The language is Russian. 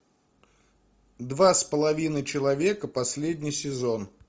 два с половиной человека последний сезон